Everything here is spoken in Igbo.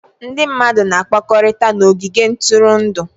Ndị mmadụ na-akpakọrịta na ogige ntụrụndụ.